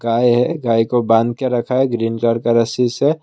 गाय है गाय को बांध के रखा है ग्रीन कलर का रस्सी से।